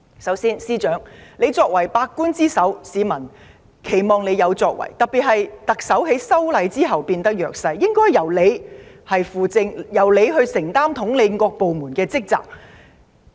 首先，司長，你作為百官之首，市民期望你有所作為，尤其是特首在修例風波後變得弱勢，理應由你輔政，承擔統領各部門的職責。